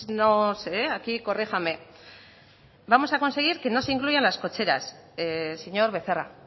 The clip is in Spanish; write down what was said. no sé aquí corríjame vamos a conseguir que no se incluyan las cocheras señor becerra